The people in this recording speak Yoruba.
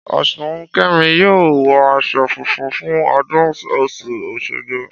Ọ̀ṣunkẹmi yóò wọ aṣọ funfun fún ọdún ọ̀ṣun òṣogbo